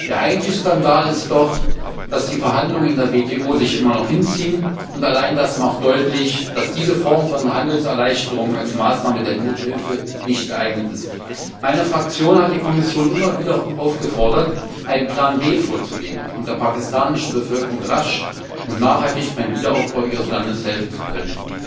Der eigentliche Skandal ist doch, dass die Verhandlungen in der WTO sich immer noch hinziehen, und allein das macht deutlich, dass diese Form von Handelserleichterung als Maßnahme der Nothilfe nicht geeignet ist. Meine Fraktion hat die Kommission immer wieder aufgefordert, einen Plan B vorzulegen, um der pakistanischen Bevölkerung rasch und nachhaltig beim Wiederaufbau ihres Landes helfen zu können.